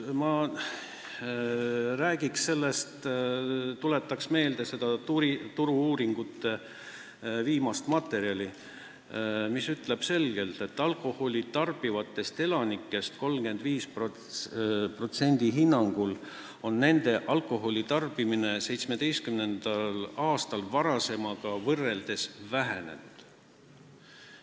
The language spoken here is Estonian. Ma tuletan teile meelde seda Turu-uuringute viimast ülevaadet, mis ütleb selgelt, et alkoholi tarbivatest elanikest 35% hinnangul on nende tarbimine 2017. aastal varasemaga võrreldes vähenenud.